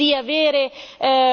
Questo è estremamente sbagliato.